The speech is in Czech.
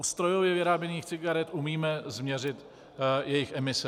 U strojově vyráběných cigaret umíme změřit jejich emise.